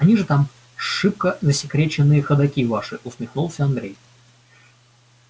они же там шибко засекреченные ходоки ваши усмехнулся андрей